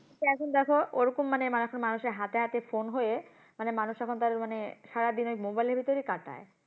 তো এখন দেখো ওরকম মানে, এখন মানুষের হাতে হাতে phone হয়ে, মানে মানুষ এখন তো আরো মানে সারাদিন ওই mobile এর ভেতরেই কাটায়।